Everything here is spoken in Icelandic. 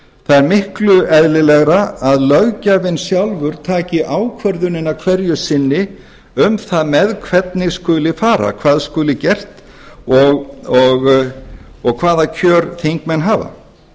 það er miklu eðlilegra að löggjafinn sjálfur taki ákvörðunina hverju sinni um það með hvernig skuli fara hvað skuli gert og hvaða kjör þingmenn hafa